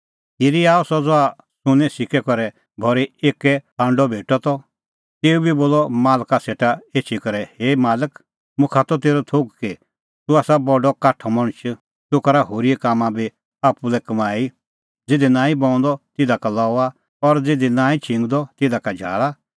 खिरी आअ सह ज़हा सुन्नें सिक्कै करै भरी एक्कै हांडअ भेटअ त तेऊ बी बोलअ मालका सेटा एछी करै हे मालक मुखा त तेरअ थोघ कि तूह आसा बडअ काठअ मणछ तूह करा होरीए कामां का बी आप्पू लै कमाई ज़िधी नांईं बऊंदअ तिधा का लऊआ और ज़िधी नांईं छिंगदअ तिधा का झाल़ा